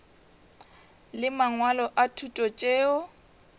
le mangwalo a thuto tšeo